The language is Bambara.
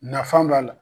Nafan b'a la